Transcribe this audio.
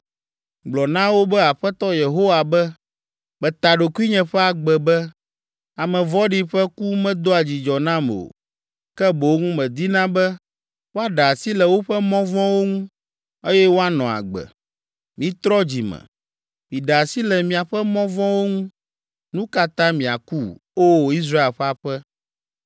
Gblɔ na wo be Aƒetɔ Yehowa be, ‘Meta ɖokuinye ƒe agbe be, ame vɔ̃ɖi ƒe ku medoa dzidzɔ nam o, ke boŋ medina be woaɖe asi le woƒe mɔ vɔ̃wo ŋu, eye woanɔ agbe. Mitrɔ dzi me! Miɖe asi le miaƒe mɔ vɔ̃wo ŋu! Nu ka ta miaku, O! Israel ƒe aƒe?’